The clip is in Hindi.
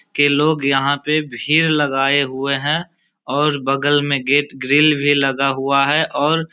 के लोग यहां पे भीड़ लगाए हुए हैं और बगल में गेट ग्रिल भी लगा हुआ है और --